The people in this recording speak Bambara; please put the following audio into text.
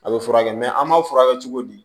A bɛ furakɛ an b'a furakɛ cogo di